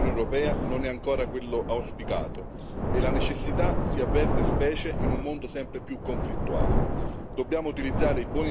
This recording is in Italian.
Il ruolo internazionale dell'Unione europea non è ancora quello auspicato e la necessità si avverte, specie in un mondo sempre più conflittuale.